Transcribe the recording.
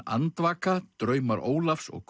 andvaka draumar Ólafs og